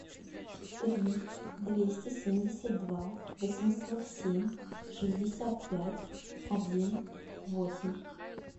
три двести семьдесят два восемьсот семь шестьдесят пять один восемь